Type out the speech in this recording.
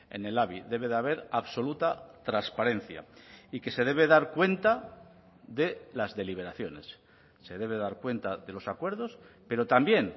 en el labi debe de haber absoluta transparencia y que se debe dar cuenta de las deliberaciones se debe dar cuenta de los acuerdos pero también